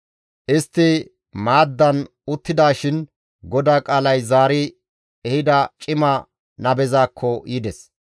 Istti maaddan uttidaashin GODAA qaalay zaari ehida cima nabezaakko yides.